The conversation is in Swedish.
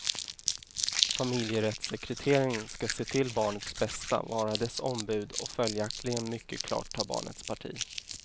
Familjerättssekreteraren ska se till barnets bästa, vara dess ombud och följaktligen mycket klart ta barnets parti.